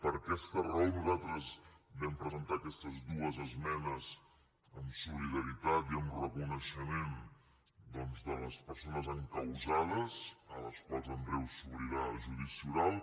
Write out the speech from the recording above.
per aquesta raó nosaltres vam presentar aquestes dues esmenes en solidaritat i en reconeixement doncs de les persones encausades a les quals en breu s’obrirà el judici oral